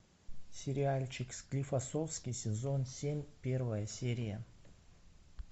сериальчик склифосовский сезон семь первая серия